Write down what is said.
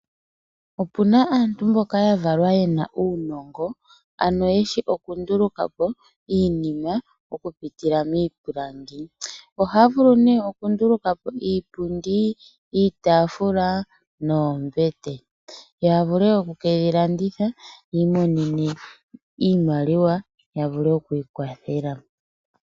Opuna aantu mboka ya valwa ye na uunongo, ano yeshi oku nduluka po iinima, oku pitila miipilangi. Ohaya vulu nee oku ndulu ka po iipundi, iitaafula noombete. Ya vule oku keyi landitha, yi imonene iimaliwa, ya vule oku ikwathela.